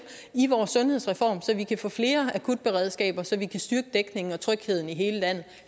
i vores sundhedsreform så vi kan få flere akutberedskaber så vi kan styrke dækningen og trygheden i hele landet